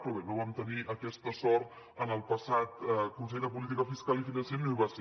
però bé no vam tenir aquesta sort en el passat consell de política fiscal i financera no hi va ser